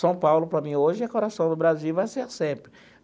São Paulo, para mim, hoje, é o coração do Brasil e vai ser sempre.